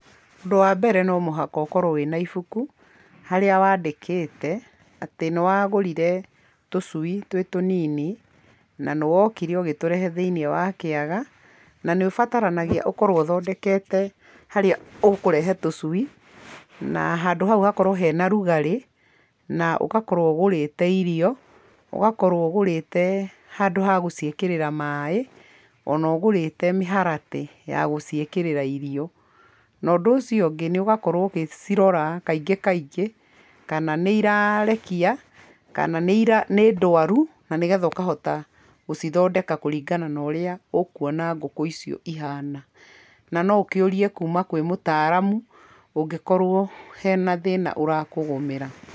Ũndũ wa mbere no mũhaka ũkorwo wĩna ibuku, harĩa wandĩkĩte atĩ nĩwagũrire tũcui twĩ tũnini na nĩwokire ũgĩtũrehe thĩiniĩ wa kĩaga, na nĩũbataranagia ũkorwo ũthondekete harĩa ũkũrehe tũcui na handũ hau hakorwo hena rugarĩ, na ũgakorwo ũgũrĩte irio, ũgakorwo ũgũrĩte handũ ha gũciĩkĩrĩra maĩ ona ũgũrĩte mĩharatĩ ya gũciĩkĩrĩra irio, na ũndũ ũcio ũngĩ nĩ ũgakorwo ũgĩcirora kaingĩ kaingĩ kana nĩirarekia kana nĩndwaru, na nĩgetha ũkahota gũcithondeka kũringana na ũrĩa ũkuona ngũkũ icio ihana, na noũkĩũrie kuma kwĩ mũtaramu ũngĩkorwo hena thĩna ũrakũgũmĩra.